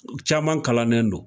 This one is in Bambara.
Caman kalannen don